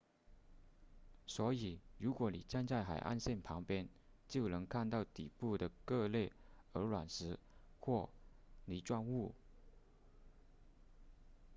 所以如果你站在海岸线旁边就能看到底部的各类鹅卵石或泥状物